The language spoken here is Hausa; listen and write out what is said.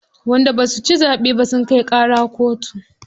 Wanda basu ci zaɓe ba sun kai ƙara kotu.